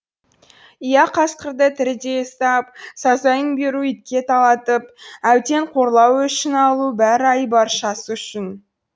иә қасқырды тірідей ұстап сазайын беру итке талатып әбден қорлау өшін алу бәрі айбаршасы үшін